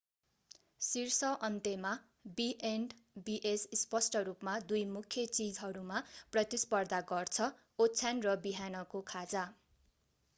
शीर्ष अन्त्यमा B and Bs स्पष्ट रूपमा दुई मुख्य चीजहरूमा प्रतिस्पर्धा गर्छ ओछ्यान र बिहानको खाजा